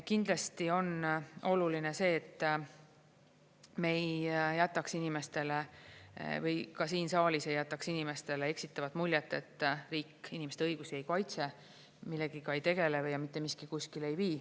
Kindlasti on oluline see, et me ei jätaks inimestele või ka siin saalis ei jätaks inimestele eksitavat muljet, et riik inimeste õigusi ei kaitse, millegagi ei tegele ja mitte miski kuskile ei vii.